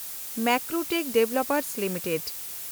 Macrotech Developments limited